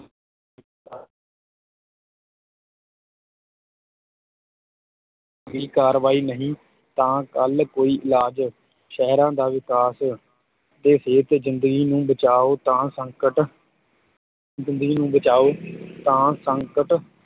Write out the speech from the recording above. ਦੀ ਕਾਰਵਾਈ ਨਹੀਂ ਤਾਂ ਕੱਲ੍ਹ ਕੋਈ ਇਲਾਜ, ਸਹਿਰਾਂ ਦਾ ਵਿਕਾਸ ਅਤੇ ਸਿਹਤ ਜ਼ਿੰਦਗੀ ਨੂੰ ਬਚਾਉ ਤਾਂ ਸੰਕਟ ਜ਼ਿੰਦਗੀ ਨੂੰ ਬਚਾਉ ਤਾਂ ਸੰਕਟ